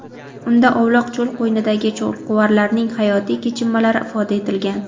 Unda ovloq cho‘l qo‘ynidagi cho‘lquvarlarning hayotiy kechinmalari ifoda etilgan.